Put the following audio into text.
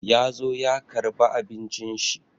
Ya zo ya karba abincin shi.